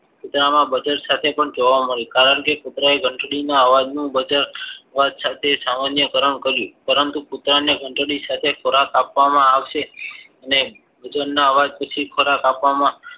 કૂતરામાં buzzer સાથે પણ જોવા મળી કરણ કે કુતરા એ ઘંટડીના અવાજ નું બજર હોવા સાથે સામાન્ય કારણ કર્યું પરંતુ કૂતરાને ઘંટડી સાથે ખોરાક આપવામાં આવશે ને તેમના અવાજ પછી ખોરાક